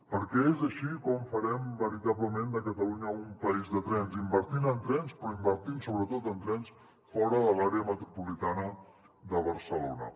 perquè és així com farem veritablement de catalunya un país de trens invertint en trens però invertint sobretot en trens fora de l’àrea metropolitana de barcelona